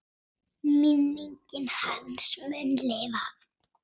Minning hans mun lifa.